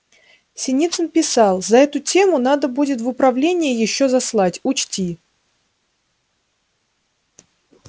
синицын писал за эту тему надо будет в управление ещё заслать учти